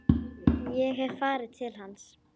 Ég hef farið til hans.